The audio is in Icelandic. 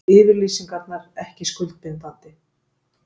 Yfirlýsingarnar ekki skuldbindandi